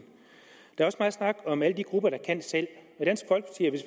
der er også meget snak om alle de grupper der kan selv